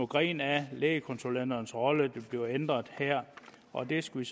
grene af lægekonsulenternes rolle der bliver ændret og det skal